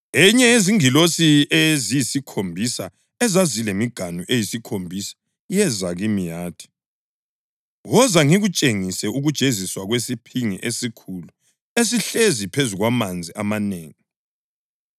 Enye yezingilosi eziyisikhombisa ezazilemiganu eyisikhombisa yeza kimi yathi, “Woza ngikutshengise ukujeziswa kwesiphingi esikhulu esihlezi phezu kwamanzi amanengi.